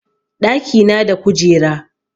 ɗaki na da kujera